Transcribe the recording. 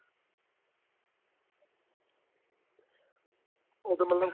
ਉਦੋਂ ਮਤਲਬ